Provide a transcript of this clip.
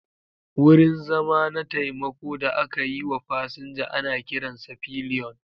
Wurin zama na taimako da aka yi wa fasinja ana kiransa pillion.